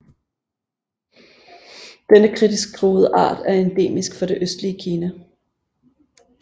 Denne kritisk truede art er endemisk for det østlige Kina